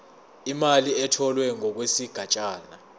imali etholwe ngokwesigatshana